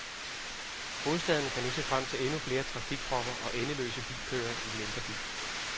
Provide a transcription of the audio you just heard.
Hovedstaden kan nu se frem til endnu flere trafikpropper og endeløse bilkøer i den indre by.